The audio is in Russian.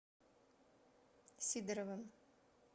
сидоровым